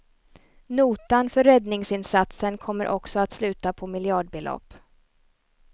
Notan för räddningsinsatsen kommer också att sluta på miljardbelopp.